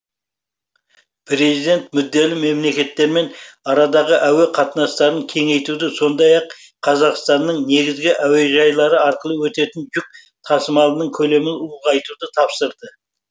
президент мүдделі мемлекеттермен арадағы әуе қатынастарын кеңейтуді сондай ақ қазақстанның негізгі әуежайлары арқылы өтетін жүк тасымалының көлемін ұлғайтуды тапсырды